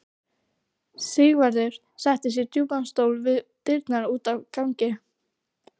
Sigvarður settist í djúpan stól við dyrnar út á ganginn.